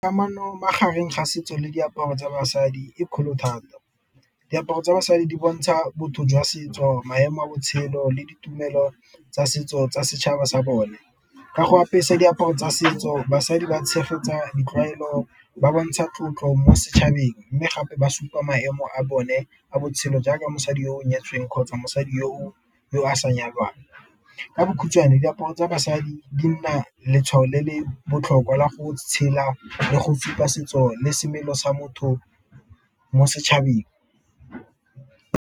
Kamano magareng ga setso le diaparo tsa basadi e kgolo thata, diaparo tsa basadi di bontsha botho jwa setso, maemo a botshelo, le ditumelo tsa setso tsa setšhaba sa bone. Ka go apesa diaparo tsa setso basadi ba tshegetsa ditlwaelo, ba bontsha tlotlo mo setšhabeng, mme gape ba supa maemo a bone a botshelo jaaka mosadi yo o nyetsweng kgotsa mosadi yo a sa nyalwang. Ka bokhutswane diaparo tsa basadi di nna letshwao le le botlhokwa la go tshela, le go supa setso le semelo sa motho mo setšhabeng.